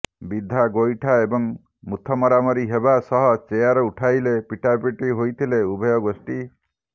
ବିଧା ଗୋଇଠା ଏବଂ ମୁଥ ମରାମରି ହେବା ସହ ଚେୟାର ଉଠାଇ ପିଟାପିଟି ହୋଇଥିଲେ ଉଭୟ ଗୋଷ୍ଠୀ